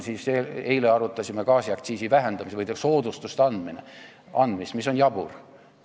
Eile arutasime gaasiaktsiisi vähendamist või soodustuste andmist, mis on jabur.